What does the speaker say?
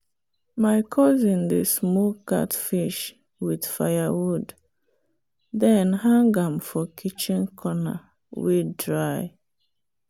my cousin dey smoke catfish with firewood then hang am for kitchen corner wey dry.